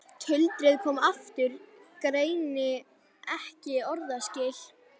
Tuldrið komið aftur, greini ekki orðaskil.